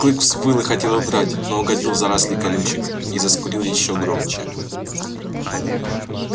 клык взвыл и хотел удрать но угодил в заросли колючек и заскулил ещё громче